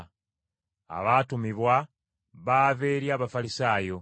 Abaatumibwa baava eri Abafalisaayo.